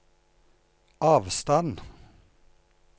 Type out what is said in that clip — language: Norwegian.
avstand